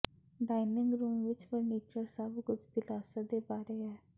dining room ਵਿਚ furniture ਸਭ ਕੁਝ ਦਿਲਾਸਾ ਦੇ ਬਾਰੇ ਹੈ